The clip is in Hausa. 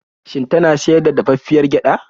Shin tana siyar da dafaffiyar gyaɗa?